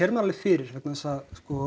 maður það fyrir vegna þess að